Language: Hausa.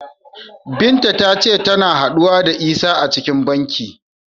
Binta ta ce tana haɗuwa da Isah a cikin banki.